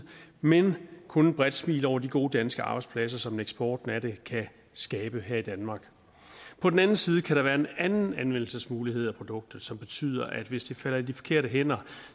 men kun et bredt smil over de gode danske arbejdspladser som eksporten af det kan skabe her i danmark på den anden side kan der være en anden anvendelsesmulighed af produktet som betyder at hvis det falder i de forkerte hænder